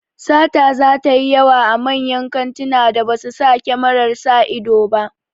Sata zata yi yawa a manyan kantunan da ba su sa kyamarar sa ido ba